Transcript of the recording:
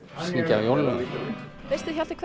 jólalögin veistu Hjalti hvað